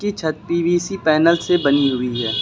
छत PVC panel से बनी हुई है।